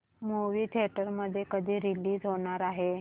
movie theatre मध्ये कधी release होणार आहे